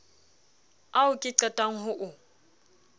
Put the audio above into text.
ao ke qetang ho o